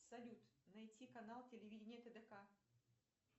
салют найти канал телевидения тдк